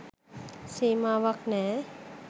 සීමාවක්‌ නෑ.